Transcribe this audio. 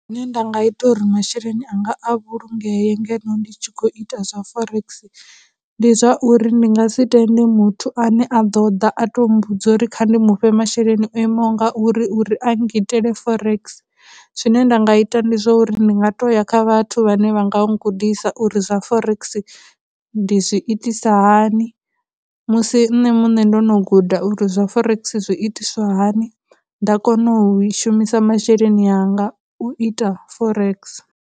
Zwine nda nga ita uri masheleni anga a vhulungee ngeno ndi tshi khou ita zwa forex, ndi zwa uri ndi nga si tende muthu ane a ḓo ḓa a tou mmbudza uri kha ndi mufhe masheleni o imaho nga uri uri a nngitele forex. Zwine nda nga ita ndi zwa uri ndi nga tou ya kha vhathu vhane vha nga gudisa uri zwa forex ndi zwi itisa hani, musi nṋe muṋe ndo no guda uri zwa forex zwi itiswa hani, nda kona u shumisa masheleni anga u ita forex.